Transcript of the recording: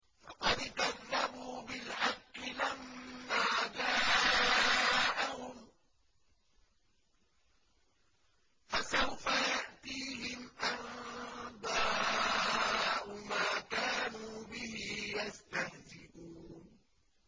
فَقَدْ كَذَّبُوا بِالْحَقِّ لَمَّا جَاءَهُمْ ۖ فَسَوْفَ يَأْتِيهِمْ أَنبَاءُ مَا كَانُوا بِهِ يَسْتَهْزِئُونَ